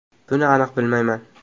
Buni aniq bilmayman.